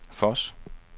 Voss